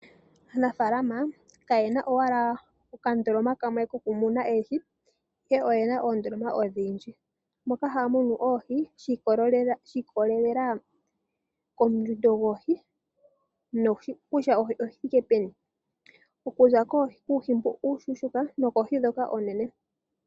Aanafaalama kayena owala okandoloma kamwe kokumuna oohi ihe oyena oondoloma odhindji moka haya munu oohi shi ikolelela kondjundo yoohi noko kutya oohi odhi thike peni. Kuza kuuhi mbu uushuushuka sigo okoohi ndhoka oonene.